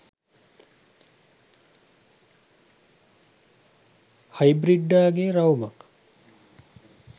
හයිබ්‍රිඩ්ඩා ගේ රවුමක්?